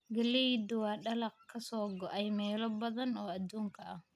Galleydu waa dalag ka soo go'ay meelo badan oo adduunka ah.